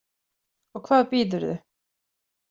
Og hvað býðurðu?